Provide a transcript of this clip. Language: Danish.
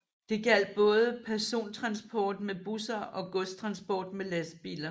Det gjaldt både persontransport med busser og godstransport med lastbiler